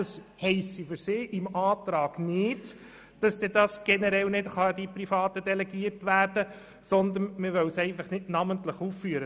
Das heisse für sie im Antrag nicht, dass dies generell nicht an Private delegiert werden könne, sondern man wolle es einfach nicht namentlich aufführen.